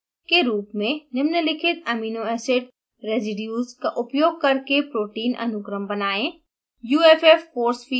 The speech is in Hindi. एक असाइंमेंट के रूप नियत कार्य में निम्नलिखित amino acid रेसिड्यूज़ का उपयोग करके protein अनुक्रम बनाएं